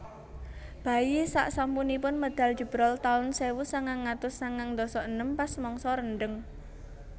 Bayi sak sasampunipun medal jebrol taun sewu sangang atus sangang ndasa enem pas mangsa rendheng